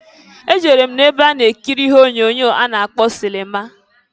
E jere m na-ebe a na-ekiri ihe onyoonyo a na-akpọ sịlịma.